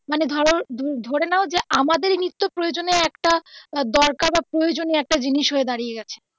মানে ধরো ধরে নাও যে আমাদের নিত্য প্রয়োজনের একটা আহ দরকার বা প্রয়োজনীয় একটা জিনিস হয়ে দাঁড়িয়ে গেছে